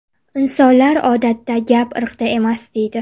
Insonlar odatda: ‘Gap irqda emas’, deydi.